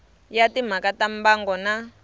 ya timhaka ta mbango na